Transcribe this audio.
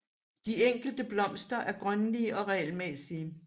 De enkelte blomster er grønlige og regelmæssige